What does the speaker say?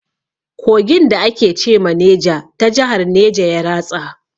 Kogin da ake ce ma Neja ta jahar neja ya ratsa.